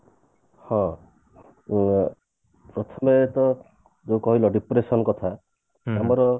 ହଁ ଅ ପ୍ରଥମେ ତ ଯୋଉ କହିଲ depression କଥା ଆମର